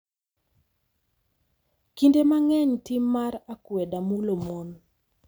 Kinde mang’eny, tim mar akweda mulo mon.